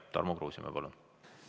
Tarmo Kruusimäe, palun!